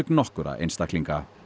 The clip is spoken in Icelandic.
nokkurra einstaklinga